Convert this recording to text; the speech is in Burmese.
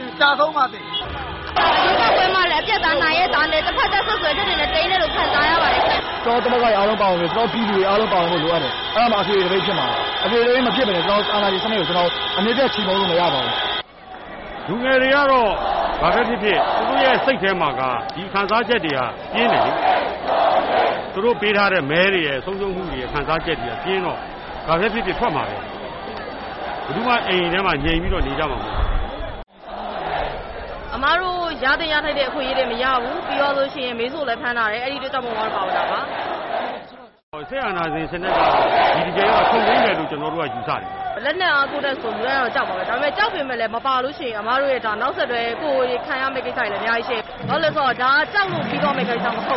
င် ကျဆုံးပါစေ” “ရွေးကောက်ပွဲမှာလည်း အပြတ်အသတ် နိုင်ရဲ့သားနဲ့ တဖက်သတ် စွပ်စွဲချက်တွေနဲ့ သိမ်းတယ်လို့ ခံစားရပါတယ်ရှင့်။ ” “ ကျနော်တို့ သမဂ္ဂတွေ အားလုံး ကျနော်တို့ ပြည်သူတွေ အားလုံး ပါဝင်ဖို့ လိုအပ်တယ်။ အဲဒါမှ အထွေထွေ သပိတ်ဖြစ်မှာ။ အထွေထွေ သပိတ် မဖြစ်ဘဲ ကျနော်တို့ အာဏာရှင် စနစ်ကို အမြတ်ဖြုတ် ချေမှုန်းလို့ မရပါဘူး။ ” “ လူငယ်တွေကတော့ ဘာဘဲ ဖြစ်ဖြစ် သူတို့ရဲ့ စိတ်ထဲမှာ ဒီခံစားချက်တွေက ပြင်းတယ်လေ။ သူတို့ ပေးထားတဲ့ မဲတွေရဲ့ ဆုံးရှုံးမှုတွေရဲ့ ခံစားချက်က ပြင်းတော့ ဘာဘဲ ဖြစ်ဖြစ် ထွက်မှာဘဲ။ ဘယ်သူမှ ငြိမ်ပြီးတော့ အိမ်ထဲမှာ နေကြမှာ မဟုတ်ဘူး။” “ အမတို့ ရသင့် ရထိုက်တဲ့ အခွင့်အရေးတွေ မရဘူး။ အမေစုကိုလည်း ဖမ်းထားတယ်။ အဲဒီ အတွက်ကြောင့် မို့လို့ ပါဝင်တာပါ။ ” “ စစ်အာဏာရှင် စနစ်ကတော့ ဒီတကြိမ်တော့ ချုပ်ငြိမ်းမယ်လို့ ကျနော်တို့က ယူဆတယ်။” “လက်နက် အားကိုးနဲ့ဆို လူတိုင်းကတော့ ကြောက်မှာဘဲ ။ ကြောက်ပေမယ့်လည်း မပါလို့ရှိရင် အမတို့ရဲ့ နောက်ဆက်တွဲ ကိုယ်တွေ ခံရမယ့် ကိစ္စတွေလည်း အများကြီး ရှိတယ်။ ဘာလို့လဲ ဆိုတော့ ဒါက ကြောက်လို့ ပြီးသွားမယ့် ကိစ္စ မဟု